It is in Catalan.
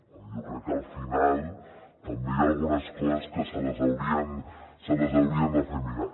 jo crec que al final també hi ha algunes coses que se les haurien de fer mirar